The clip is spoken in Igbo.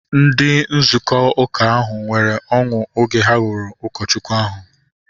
Ndị nzukọ uka ahu nwere ọṅụ oge ha hụrụ ụkọchukwu ahu